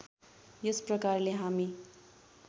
यस प्रकारले हामी